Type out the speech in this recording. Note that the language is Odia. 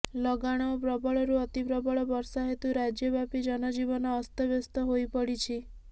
ଲଗାଣ ଓ ପ୍ରବଳରୁ ଅତି ପ୍ରବଳ ବର୍ଷା ହେତୁ ରାଜ୍ୟବ୍ୟାପୀ ଜନଜୀବନ ଅସ୍ତବ୍ୟସ୍ତ ହୋଇପଡ଼ିଛି